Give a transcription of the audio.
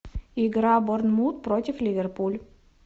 игра борнмут против ливерпуль